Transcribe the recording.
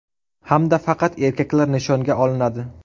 Hamda faqat erkaklar nishonga olinadi.